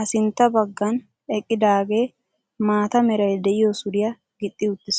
a sintta baaggan eqqidaagee maata meray de'iyo suriya gixxi uttiis.